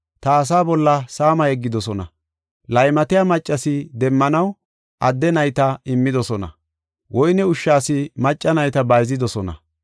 Ta asaa bolla saama yeggidosona; laymatiya maccas demmanaw, adde nayta immidosona; woyne ushshas macca nayta bayzidosona.